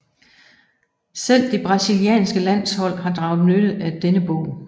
Selv det brasilianske landshold har draget nytte af denne bog